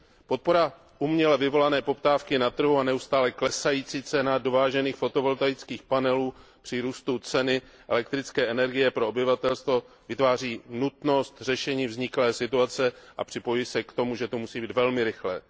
Podpora uměle vyvolané poptávky na trhu a neustále klesající cena dovážených fotovoltaických panelů při růstu ceny elektrické energie pro obyvatelstvo vytváří nutnost řešení vzniklé situace a připojuji se k tomu, že řešení musí být velmi rychlé.